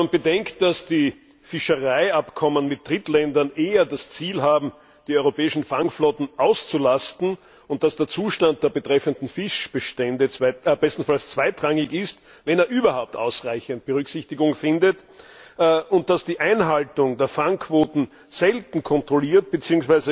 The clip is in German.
Wenn man bedenkt, dass die Fischereiabkommen mit Drittländern eher das Ziel haben, die europäischen Fangflotten auszulasten, und dass der Zustand der betreffenden Fischbestände bestenfalls zweitrangig ist, wenn er überhaupt ausreichend Berücksichtigung findet, und dass die Einhaltung der Fangquoten selten kontrolliert wird bzw.